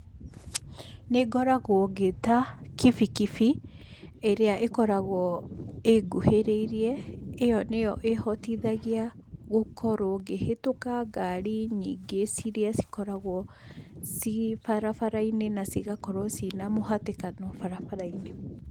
Nĩ ngoragwo ngĩĩta kibikibi ĩrĩa ĩkoragwo ĩnguhĩrĩirie, ĩyo nĩyo ĩhotithagia gũkorwo ngĩhĩtũka ngari nyingĩ iria cikoragwo ciĩ barabara-inĩ na cigakorwo ciĩna mũhatĩkano barabara-inĩ.